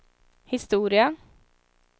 historia